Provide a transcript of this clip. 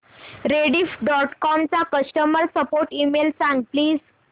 Rediff dot com चा customer support email सांग please